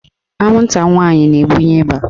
Anwụnta nwaanyị na-ebunye ịba.